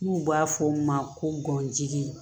N'u b'a fɔ o ma ko gɔnjigi